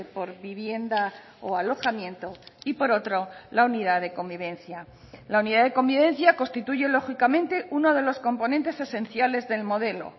por vivienda o alojamiento y por otro la unidad de convivencia la unidad de convivencia constituye lógicamente uno de los componentes esenciales del modelo